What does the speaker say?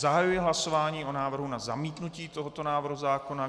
Zahajuji hlasování o návrhu na zamítnutí tohoto návrhu zákona.